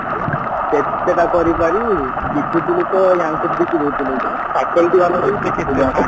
କେତଟା କରିପାରିବୁ ବିକୁଥିଲୁ ତ ୟାଙ୍କୁ ବିକିଦଉଥିଲୁ କଣ faculty ବାଲାଙ୍କୁ